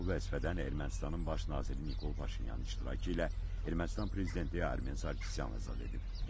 Onu bu vəzifədən Ermənistanın baş naziri Nikol Paşinyanın iştirakı ilə Ermənistan prezidenti Armen Sarkisyan azad edib.